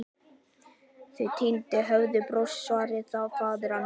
Þau tíðindi höfðu borist, svaraði faðir hans.